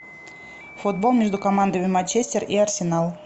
футбол между командами манчестер и арсенал